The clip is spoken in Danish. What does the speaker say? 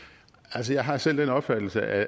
altså jeg har selv den opfattelse at